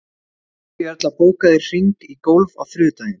Maríuerla, bókaðu hring í golf á þriðjudaginn.